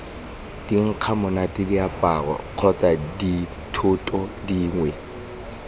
dinkgamonate diaparo kgotsa dithoto dingwe